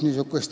Nii.